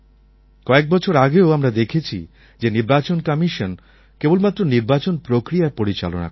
কয়েক বছর আগেও আমরা দেখেছি যে নির্বাচন কমিশন কেবলমাত্র নির্বাচন প্রক্রিয়া পরিচালনা করতেন